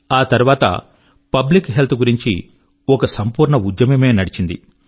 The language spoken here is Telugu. ఆ తర్వాత పబ్లిక్ హెల్త్ గురించి ఒక సంపూర్ణ ఉద్యమమే నడిచింది